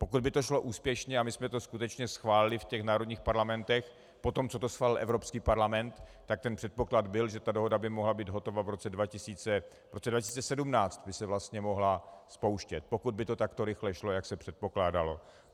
Pokud by to šlo úspěšně a my jsme to skutečně schválili v těch národních parlamentech poté, co to schválil Evropský parlament, tak ten předpoklad byl, že ta dohoda by mohla být hotova - v roce 2017 by se vlastně mohla spouštět, pokud by to takto rychle šlo, jak se předpokládalo.